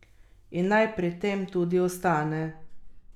In naj pri tem tudi ostane.